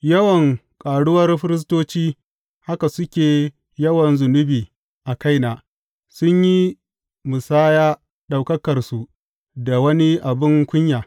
Yawan ƙaruwar firistoci, haka suke yawan zunubi a kaina; sun yi musaya Ɗaukakarsu da wani abin kunya.